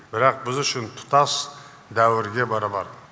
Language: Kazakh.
бірақ біз үшін тұтас дәуірге бара бар